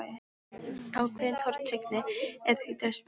Ákveðin tortryggni er því til staðar.